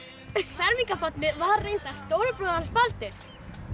fermingarbarnið var reyndar stóri bróðir hans Baldvins